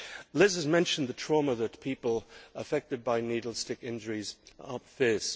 Liz has mentioned the trauma that people affected by needle stick injuries face.